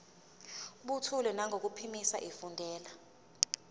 buthule nangokuphimisa efundela